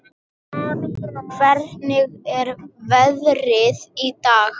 Hvernig er veðrið í dag?